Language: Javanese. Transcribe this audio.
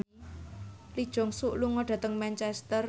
Lee Jeong Suk lunga dhateng Manchester